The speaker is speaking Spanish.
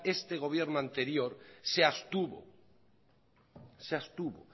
este gobierno anterior se abstuvo